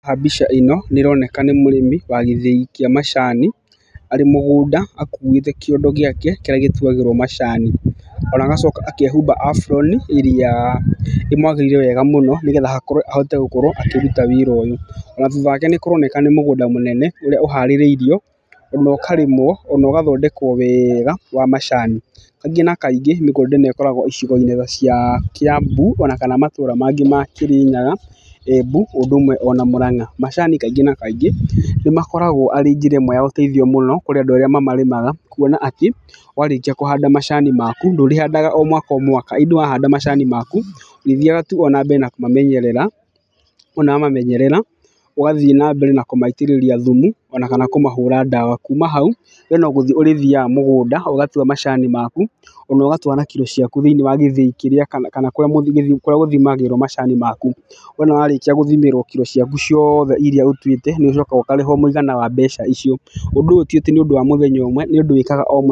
Haha mbica ĩno nĩ ĩroneka nĩ mũrĩmi wa gĩthĩi kĩa macani, arĩ mũgũnda akuĩte kĩondo gĩake kĩrĩa gĩtuagĩrwo macani. Ona agacoka akehumba aburoni ĩrĩa ĩmwagĩrĩire wega mũno nĩgetha ahote gũkorwo akĩhota kũruta wĩra ũyũ. Na thutha wake nĩ kũroneka nĩ mũgũnda mũnene ũrĩa ũhaarĩrĩirio na ũkarĩmwo ona ũgathondekwo wega wa macani. Kaingĩ na kaingĩ mĩgũnda ĩno ĩkoragwo icigo-inĩ cia Kiambu ona kana matũra mangĩ ma Kĩrĩnyaga, Embu ũndũ ũmwe ona Muranga. Macani kaingĩ na kaingĩ nĩ makoragwo arĩ njĩra ĩmwe ya ũteithio mũno kũrĩ andũ arĩa mamarĩmaga, kuona atĩ warĩkia kũhanda macani maku ndũrĩhandaga o mwaka o mwaka. Indĩ wahanda macani maku, ũrĩthiaga tu o na mbere kũmamenyerera, wona wa mamenyerera, ũgathiĩ na mbere na kũmaitĩrĩria thumu ona kana kũmahũra ndawa. Kuuma hau we no gũthiĩ ũrĩthiaga mũgũnda na ũgatua macani maku ona ũgatua na kiro ciaku thĩiniĩ wa gĩthĩi gĩaku kana kũrĩa gũthimagĩrwo macani maku. Wona warĩkia gũthimĩrwo kiro ciaku ciothe irĩa ũtuĩte, nĩ ũcokaga ũkarĩhwo mũigana wa mbeca icio. Ũndũ ũyũ ti atĩ nĩ ũndũ wa mũthenya ũmwe, nĩ ũndũ wĩkaga o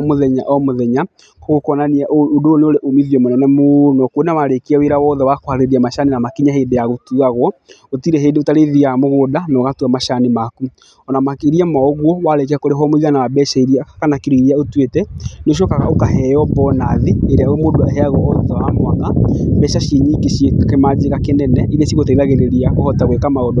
mũthenya o mũthenya. Koguo kuonania ũndũ ũyũ nĩ ũrĩ uumithio mũnene mũno. Kuona warĩkia wĩra wothe wa kũharĩrĩria macani na makinye hĩndĩ ya gũtuagwo, gũtirĩ hĩndĩ ũrĩthiaga mũgũnda na ũgatua macani maku. Ona makĩrĩa ma ũguo warĩkia kũrĩhwo mũigana wa mbeca irĩa kana kiro irĩa ũtuĩte, nĩ ũcokaga ũkaheo bonathi ĩrĩa mũndũ aheagwo thutha wa mwaka, mbeca ci nyingi ciĩ kĩmanjĩka kĩnene irĩa cigũteithagĩrĩria kũhota gwĩka maũndũ maku.